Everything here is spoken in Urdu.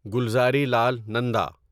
گلزارلال نندا